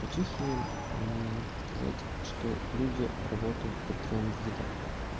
по чехии сказать что люди работают по трём видам